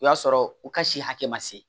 O y'a sɔrɔ u ka si hakɛ ma se